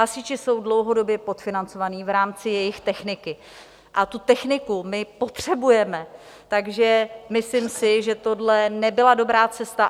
Hasiči jsou dlouhodobě podfinancovaní v rámci jejich techniky a tu techniku my potřebujeme, takže myslím si, že tohle nebyla dobrá cesta.